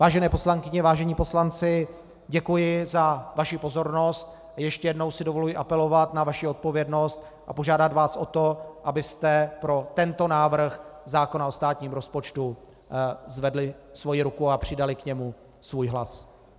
Vážené poslankyně, vážení poslanci, děkuji za vaši pozornost a ještě jednou si dovoluji apelovat na vaši odpovědnost a požádat vás o to, abyste pro tento návrh zákona o státním rozpočtu zvedli svoji ruku a přidali k němu svůj hlas.